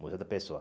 Museu da Pessoa.